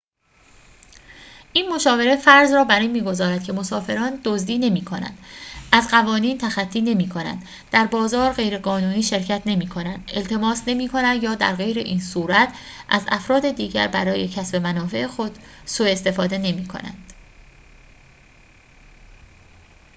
این مشاوره فرض را بر این می‌گذارد که مسافران دزدی نمی‌کنند از قوانین تخطی نمی‌کنند در بازار غیرقانونی شرکت نمی‌کنند التماس نمی‌کنند یا درغیراین‌صورت از افراد دیگر برای کسب منافع خود سوء استفاده نمی‌کنند